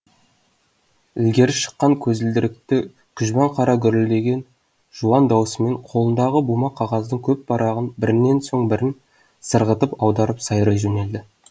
ілгері шыққан көзілдірікті күжбан қара гүрілдеген жуан даусымен қолындағы бума қағаздың көп парағын бірінен соң бірін сырғытып аударып сайрай жөнелді